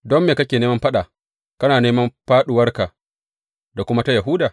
Don me kake neman faɗa kana neman fāɗuwarka da kuma ta Yahuda?